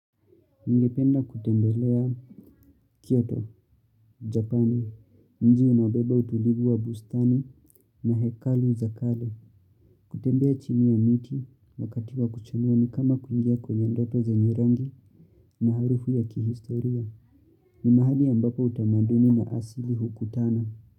Ningependa kutembelea Kyto, Japani, mji unaobeba utulivu wa bustani na hekalu za kale. Kutembea chini ya mti wakati wa kuchamuwa ni kama kuingia kwenye ndoto zenye maarufu ya kihistoria. Ni mahali ambapo utamaduni na asili hukutana.